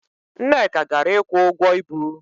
Nneka gara ịkwụ ụgwọ ibu.